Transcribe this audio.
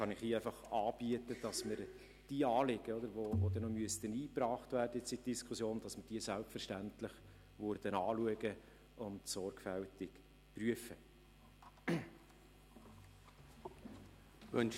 Ich kann Ihnen hier anbieten, dass wir die Anliegen, die noch in die Diskussion eingebracht werden müssten, selbstverständlich anschauen und sorgfältig prüfen würden.